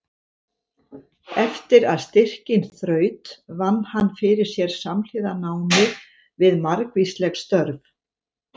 Eftir að styrkinn þraut vann hann fyrir sér samhliða námi við margvísleg störf.